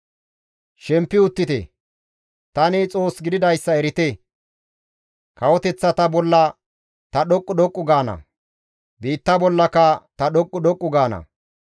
Shempi uttite; tani Xoos gididayssa erite; kawoteththata bolla ta dhoqqu dhoqqu gaana; biitta bollaka ta dhoqqu dhoqqu gaana.